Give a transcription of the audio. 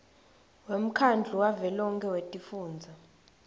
wemkhandlu wavelonkhe wetifundza